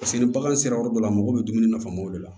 Paseke ni bagan sera yɔrɔ dɔ la a mago bɛ dumuni nafamaw de la